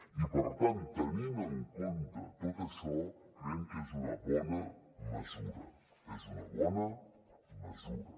i per tant tenint en compte tot això creiem que és una bona mesura és una bona mesura